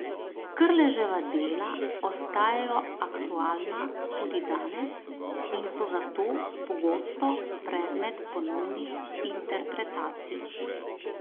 Krleževa dela ostajajo aktualna tudi danes in so zato pogosto predmet ponovnih interpretacij.